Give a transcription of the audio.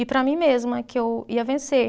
E para mim mesma, que eu ia vencer.